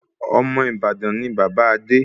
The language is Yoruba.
Ọmọ Ìbàdàn ni bàbá Adé